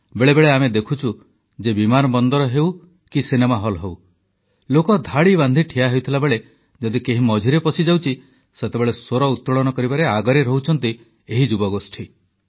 ବେଳେବେଳେ ଆମେ ଦେଖୁଛୁ ଯେ ବିମାନ ବନ୍ଦର ହେଉ କି ସିନେମା ହଲ୍ ଲୋକ ଧାଡ଼ି ବାନ୍ଧି ଠିଆ ହୋଇଥିବାବେଳେ ଯଦି କେହି ମଝିରେ ପଶିଯାଉଛି ସେତେବେଳେ ସ୍ୱର ଉତ୍ତୋଳନ କରିବାରେ ଆଗରେ ରହୁଛନ୍ତି ଏହି ଯୁବଗୋଷ୍ଠୀ